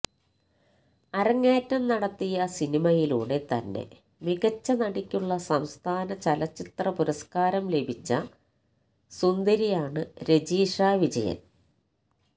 അരങ്ങേറ്റം നടത്തിയ സിനിമയിലൂടെ തന്നെ മികച്ച നടിയ്ക്കുള്ള സംസ്ഥാന ചലച്ചിത്ര പുരസ്കാരം ലഭിച്ച സുന്ദരിയാണ് രജിഷ വിജയന്